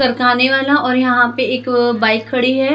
सरकाने वाला और यहां पे एक बाइक खड़ी है।